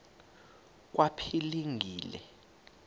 kwaphilingile